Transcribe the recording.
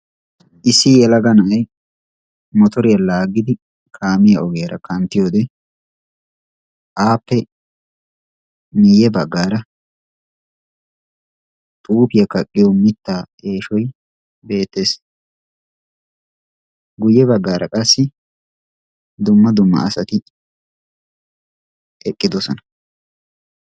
issi yelaga na'ay motoriya laaggidi kaamiya ogiyaara kanttiyode aappe miyye baggaara xuufiya kaqqiyo mittaa eeshoy beettes. guyye baggaara qassi dumma dumma asati eqqidosona.